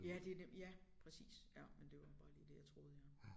Ja det nem ja præcis ja men det var bare lige det jeg troede ja